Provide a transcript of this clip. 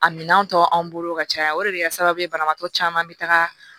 A minɛn tɔ anw bolo ka caya o de bɛ kɛ sababu ye banabagatɔ caman bɛ taga